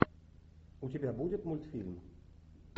у тебя будет мультфильм